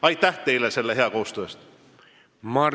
Aitäh teile selle hea koostöö eest!